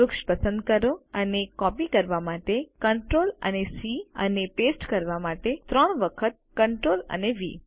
વૃક્ષ પસંદ કરો અને કોપી કરવા માટે ctrl અને સી અને પેસ્ટ કરવા માટે ત્રણ વખતctrl અને વી